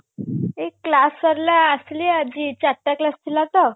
class ସରିଲା ଆସିଲି ଆଜି ଚାରିଟା class ଥିଲା ତ